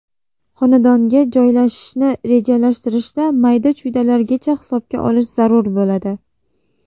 Xonadonga joylashishni rejalashtirishda mayda-chuydalargacha hisobga olish zarur bo‘ladi.